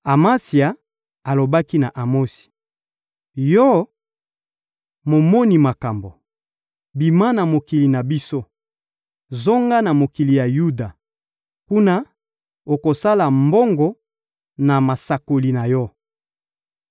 Amatsia alobaki na Amosi: — Yo, momoni makambo, bima na mokili na biso! Zonga na mokili ya Yuda. Kuna, okosala mbongo na masakoli na yo.